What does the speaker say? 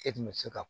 E tun bɛ se ka